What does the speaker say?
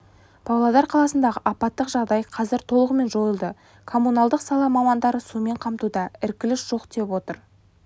павлодар қаласындағы апаттық жағдай қазір толығымен жойылды коммуналдық сала мамандары сумен қамтуда іркіліс жоқ деп отыр